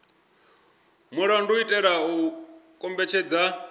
mulandu u itela u kombetshedza